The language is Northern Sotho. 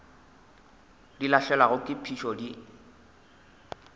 di lahlegelwa ke phišo di